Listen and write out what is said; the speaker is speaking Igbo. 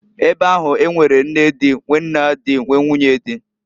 Ebe ahu, e nwere nne di, nwee nna di, nwee, nwunye di.